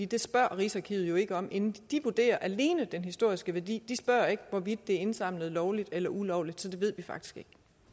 det spørger rigsarkivet ikke om inden de vurderer alene den historiske værdi de spørger ikke hvorvidt det er indsamlet lovligt eller ulovligt så det ved vi faktisk